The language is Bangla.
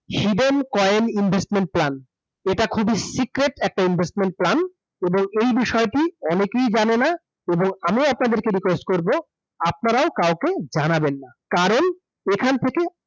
Hidden Coin Investment Plan । এটা খুবই secret একটা investment plan এবং এই বিষয় টি অনেকেই জানে না এবং আমি আপনাদের request করব, আপনারাও কাউকে জানাবেন না । কারণ এখান থেকে